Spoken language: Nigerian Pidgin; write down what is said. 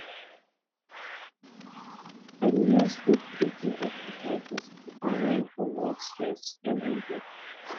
i dey use deep breathing exercises to unwind from work stress every day